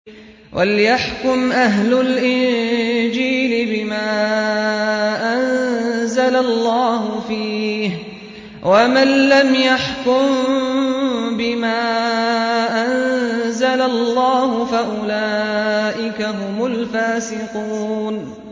وَلْيَحْكُمْ أَهْلُ الْإِنجِيلِ بِمَا أَنزَلَ اللَّهُ فِيهِ ۚ وَمَن لَّمْ يَحْكُم بِمَا أَنزَلَ اللَّهُ فَأُولَٰئِكَ هُمُ الْفَاسِقُونَ